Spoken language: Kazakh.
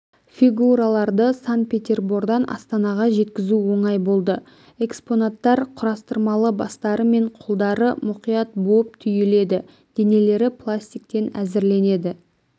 фигураларды сан-петербордан астанаға жеткізу оңай болды экспонаттар құрастырмалы бастары мен қолдары мұқият буып-түйіледі денелері пластиктен әзірленеді